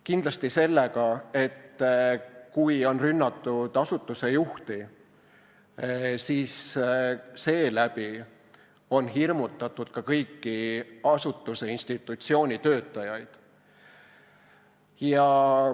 Kindlasti sellega, et kui on rünnatud asutuse juhti, siis on seeläbi hirmutatud ka kõiki asutuse, institutsiooni töötajaid.